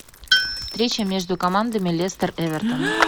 встреча между командами лестер эвертон